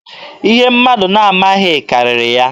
Ihe mmadụ na-amaghị karịrị ya.